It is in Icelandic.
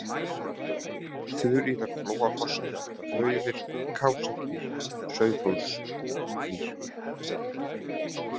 Þuríðarflóafossar, Klaufir, Kásabrýr, Sauðhólsbrýr